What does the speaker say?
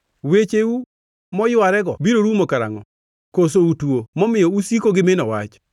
Wecheu moywarego biro rumo karangʼo? Koso utuo, momiyo usiko gi mino wach?